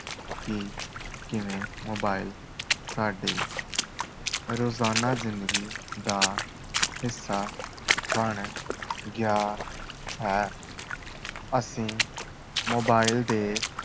ਕਿ ਕਿਵੇਂ mobile ਸਾਡੀ ਰੋਜ਼ਾਨਾ ਜ਼ਿੰਦਗੀ ਦਾ ਹਿੱਸਾ ਬਣ ਗਿਆ ਹੈ ਅਸੀਂ mobile ਦੇ